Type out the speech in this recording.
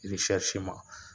Irisɛriseman